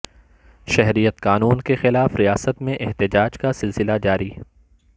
شہریت قانون کے خلاف ریاست میں احتجاج کا سلسلہ جاری